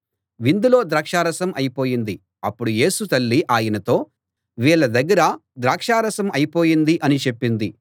విందులో ద్రాక్షారసం అయిపోయింది అప్పుడు యేసు తల్లి ఆయనతో వీళ్ళ దగ్గర ద్రాక్షరసం అయిపోయింది అని చెప్పింది